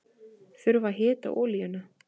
Þurfa að hita olíuna